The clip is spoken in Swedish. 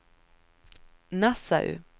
Nassau